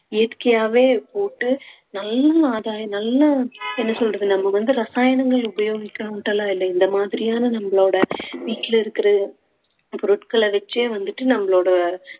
இயற்கையாவே போட்டு நல்ல ஆதாயம் நல்ல என்ன சொல்றது நம்ம வந்து ரசாயனங்கள் உபயோகிக்கானும்ட்டு எல்லாம் இல்லை இந்த மாதிரியான நம்மளோட வீட்டுல இருக்கிற பொருட்கள வச்சே வந்துட்டு நம்மளோட